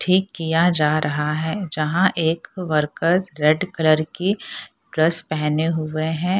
ठीक किया जा रहा है जहाँ एक वर्कर्स रेड कलर की ड्रेस पहने हुए हैं।